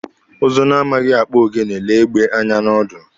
Ụzụ na-amaghị akpụ ogene lee egbe anya n'ọdụ.